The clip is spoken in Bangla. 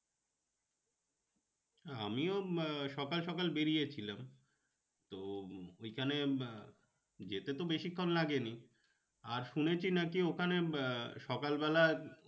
আমিও আহ সকাল সকাল বেড়িয়েছিলাম তো ওইখানে আহ যেতে তো বেশিক্ষন লাগেনি। আর শুনেছি নাকি ওখানে আহ সকাল বেলা